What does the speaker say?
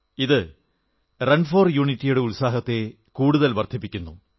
ഇത് run for യൂണിറ്റിയുടെ ഉത്സാഹത്തെ കൂടുതൽ വർദ്ധിപ്പിക്കുന്നു